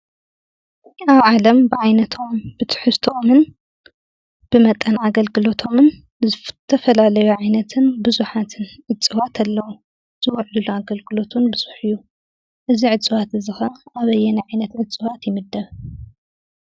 ኣብ ዓለም ብዓይነቶም፣ ብትሕዝቶኦምን ብመጠን ኣገልግሎቶምን ዝተፈላለዩ ዓይነትን ብዙሓትን እፅዋት ኣለዉ፡፡ ዝውዕልሉ ኣገልግሎት እውን ብዙሕ እዩ፡፡ እዚ እፅዋት እዚ ኸ ኣበየናይ ዓይነት እፅዋት ይምደብ?